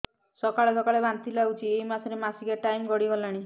ସକାଳେ ସକାଳେ ବାନ୍ତି ଲାଗୁଚି ଏଇ ମାସ ର ମାସିକିଆ ଟାଇମ ଗଡ଼ି ଗଲାଣି